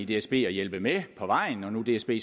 dsb at hjælpe med på vejen når nu dsb